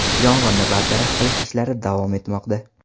Yong‘inni bartaraf qilish ishlari davom etmoqda.